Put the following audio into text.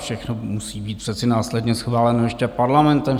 Všechno musí být přece následně schváleno ještě Parlamentem.